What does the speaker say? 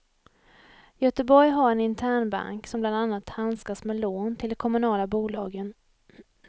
Göteborg har en internbank, som bland annat handskas med lån till de kommunala bolagen.